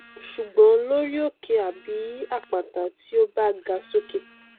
ṣùgbọn lórí òkè àbí àpáta tí ó bá ga sókè